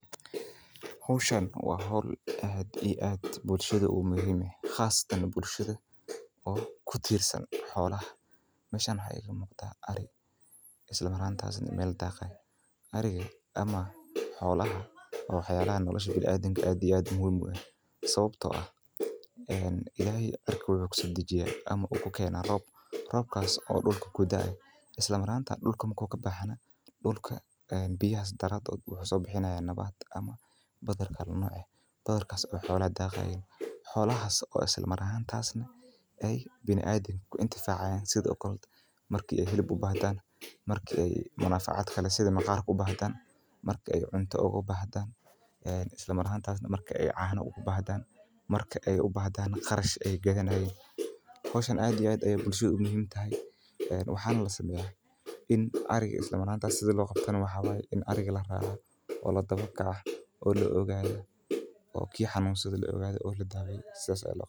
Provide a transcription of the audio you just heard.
Howshan waa howl aad iyo aad muhiim u ah qasatan bulshada kutirsan xolaha xolaha biniadamka aad iyo aad ayeey muhiim uhu yihiin ilaheey roob ayuu cirka ka keena coos ayaa dulka kasoo baxaa cooskaas xolaha ayaa cunaan kadib waxaa laga helaa hilib iyo caana waa lagataa maqarkiisa ayaa faida weyn ah ariga waa in la raaca saas waye.